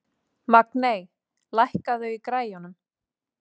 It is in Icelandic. Magney, lækkaðu í græjunum.